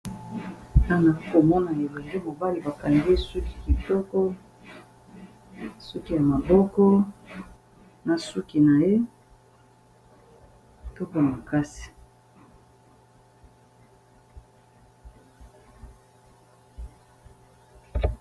Awa nakomona elongi mobale bakange suki kitoko suki ya maboko na suki na ye kitoko makasi.